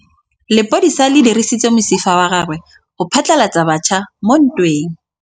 Lepodisa le dirisitse mosifa wa gagwe go phatlalatsa batšha mo ntweng.